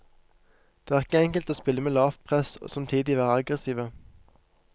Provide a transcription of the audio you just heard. Det er ikke enkelt å spille med lavt press og samtidig være aggressive.